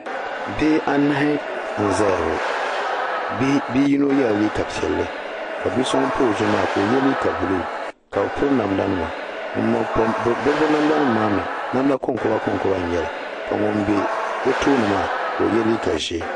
Bihi anahi n-zaya ŋɔ bi'yino yela liiga piɛlli ka bi'so ŋun pa o zuɣu maa ka o ye liiga buluu ka be piri namdanima be namdanima maa mii namda konkɔba konkɔba n-nyɛla ka ŋun m-be o tooni maa ka o ye liiga ʒee.